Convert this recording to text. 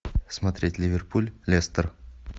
смотреть ливерпуль лестер